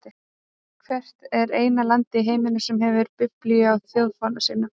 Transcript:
Hvert er eina landið í heiminum sem hefur biblíu á þjóðfána sínum?